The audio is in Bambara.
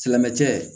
Silamɛmɛ cɛ